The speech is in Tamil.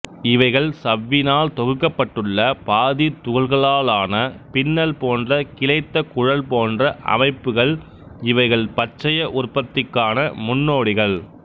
இவைகள் சவ்வினால் தொகுக்கப்பட்டுள்ள பாதி துகள்களான பின்னல் போன்ற கிளைத்த குழல் போன்ற அமைப்புகள் இவைகள் பச்சைய உற்பத்திக்கான முன்னோடிகள்